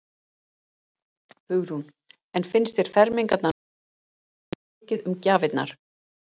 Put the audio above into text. Hugrún: En finnst þér fermingarnar núna snúast svolítið mikið um gjafirnar?